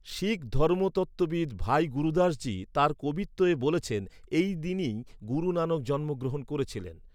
শিখ ধর্মতত্ত্ববিদ ভাই গুরুদাসজি তাঁর 'কবিত্তে' বলেছেন, এই দিনেই গুরু নানক জন্মগ্রহণ করেছিলেন।